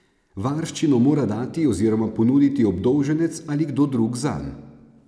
Varščino mora dati oziroma ponuditi obdolženec ali kdo drug zanj.